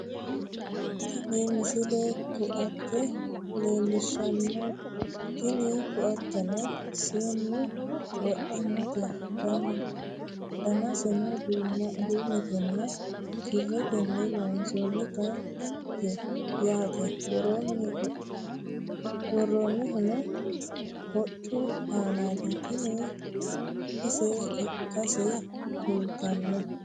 tini misile ko"atte leellishshanno tini ko"atteno seennu wodhannote danaseno duumetenna kirretenni loonsoonnite yaate worroonnihuno hoccu aanaati tini ise ikkase kultanno